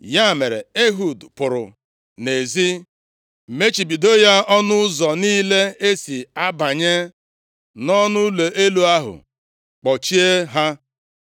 Ya mere, Ehud pụrụ nʼezi, mechibido ya ọnụ ụzọ niile e si abanye nʼọnụụlọ elu ahụ, kpọchie ha.